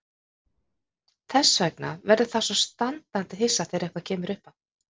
Þess vegna verður það svo standandi hissa þegar eitthvað kemur uppá.